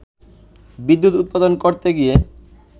বিদ্যুৎ উৎপাদন করতে গিয়ে